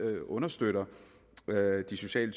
understøtter de sociale